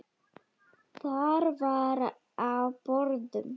Þar var á borðum